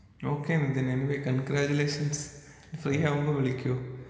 okay മിധുനെ anyway congratulations free ആകുമ്പൊ വിളിക്കു